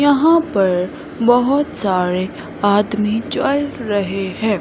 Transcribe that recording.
यहां पर बहुत सारे आदमी चल रहे है।